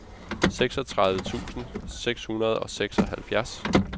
seksogtredive tusind seks hundrede og seksoghalvfjerds